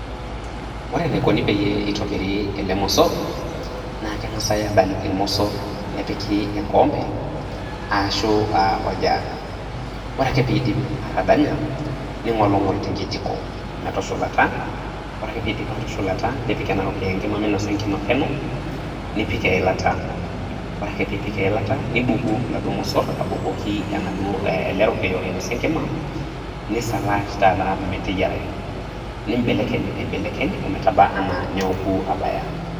Ore enaikoni peyie eitobiri ele mosor , naa kengas adany irmosor nepiki enkikombe ashu aa oljug . Ore ake pindip atadanya ningolngol te nkijiko metosholata, ore ake piidip atosholata nipik ena rokiyo enkima minosa enkima peno , nipik eilata. Ore ake piipik eilata ,nibuku iladuo mosor abukoki ele rokiyo oinosa enkima, nisalash taata meteyierarayu. Nimbelekeny aibekeny , ometaba anaa neoku abaya.